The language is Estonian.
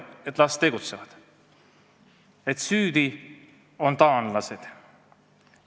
Et las tegutsevad, süüdi on taanlased?